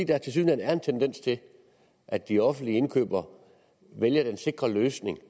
der tilsyneladende er en tendens til at de offentlige indkøbere vælger den sikre løsning